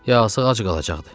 Yazıq ac qalacaqdı.